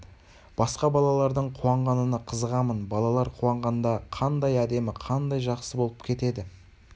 басқа балалардың қуанғанына қызығамын балалар қуанғанда қандай әдемі қандай жақсы болып кетеді